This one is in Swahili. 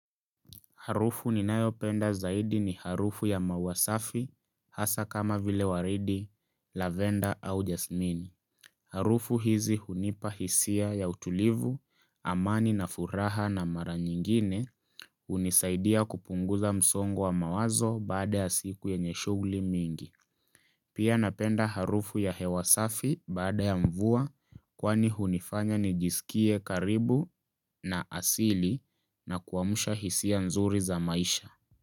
Harufu ninayo penda zaidi ni harufu ya maua safi hasa kama vile waridi, lavenda au jasmini. Harufu hizi hunipa hisia ya utulivu, amani na furaha na mara nyingine hunisaidia kupunguza msongo wa mawazo baada ya siku ya yenye shughuli mingi. Pia napenda harufu ya hewa safi baada ya mvua kwani hunifanya ni jisikie karibu na asili na kuamsha hisia nzuri za maisha.